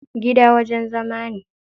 Gida wajen zama ne.